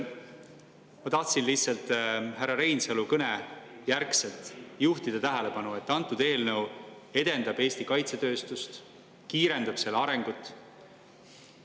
Ma tahtsin lihtsalt härra Reinsalu kõne järgselt juhtida tähelepanu, et antud eelnõu edendab Eesti kaitsetööstust, kiirendab selle arengut.